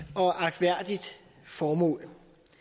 og agtværdigt formål